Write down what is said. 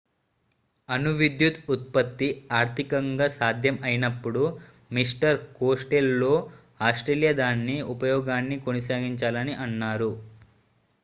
అణు విద్యుత్ ఉత్పత్తి ఆర్థికంగా సాధ్యం అయినప్పుడు మిస్టర్ కోస్టెల్లో ఆస్ట్రేలియా దాని ఉపయోగాన్ని కొనసాగించాలని అన్నారు